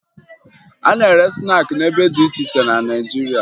A na-ere snaakị n'ebe dị iche iche na Naịjirịa